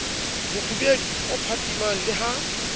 mofubedu o phatsimang le ha